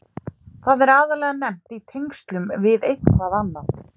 Það er aðallega nefnt í tengslum við eitthvað annað.